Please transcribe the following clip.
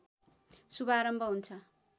शुभारम्भ हुन्छ